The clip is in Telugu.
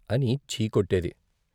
' అని ఛీ కొట్టేది.